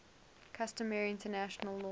customary international law